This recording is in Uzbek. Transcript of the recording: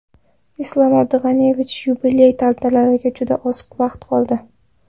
Islom Abdug‘aniyevich, yubiley tantanalariga juda oz vaqt qoldi.